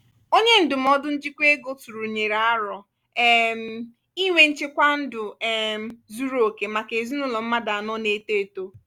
onye ndụmọdụ njikwa ego tụrụnyere aro um inwe nchekwa ndụ um zuru oke maka ezinụlọ mmadụ anọ na-eto eto.